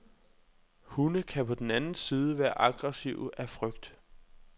Hunde kan på den anden side være aggressive af frygt.